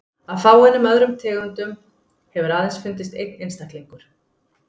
Af fáeinum öðrum tegundum hefur aðeins fundist einn einstaklingur.